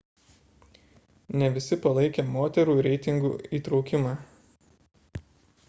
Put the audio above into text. ne visi palaikė moterų reitingų įtraukimą